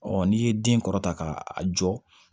n'i ye den kɔrɔta k'a jɔ